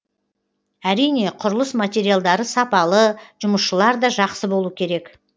әрине құрылыс материалдары сапалы жұмысшылар да жақсы болу керек